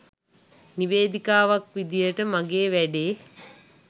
නිවේදිකාවක් විදියට මගේ වැඩේ